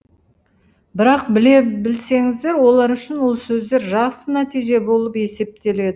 бірақ біле білсеңіздер олар үшін ол сөздер жақсы нәтиже болып есептеледі